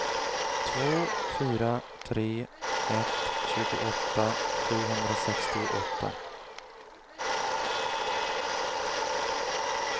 två fyra tre ett tjugoåtta sjuhundrasextioåtta